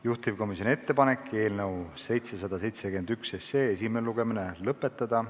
Juhtivkomisjoni ettepanek on eelnõu 771 esimene lugemine lõpetada.